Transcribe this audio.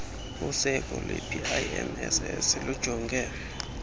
useko lwepimss lujonge